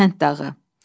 Səhənd dağı.